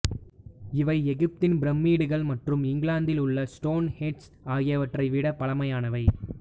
இவை எகிப்தின் பிரமிட்டுக்கள் மற்றும் இங்கிலாந்தில் உள்ள ஸ்டோன் ஹெஞ்ச் ஆகியவற்றை விடப் பழமையானவை